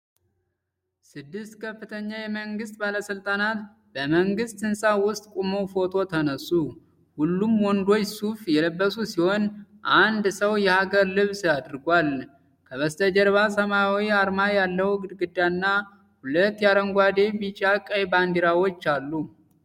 ስድስት ከፍተኛ የመንግሥት ባለሥልጣናት በመንግሥት ሕንፃ ውስጥ ቆመው ፎቶ ተነሱ። ሁሉም ወንዶች ሱፍ የለበሱ ሲሆን፣ አንድ ሰው የሀገር ልብስ አድርጓል። ከበስተጀርባ ሰማያዊ አርማ ያለው ግድግዳና ሁለት የአረንጓዴ፣ ቢጫና ቀይ ባንዲራዎች አሉ።